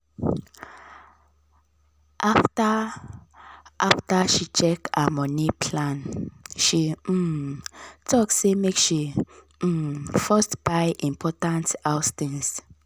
after after she check her money plan she um talk say make she um first buy important house things.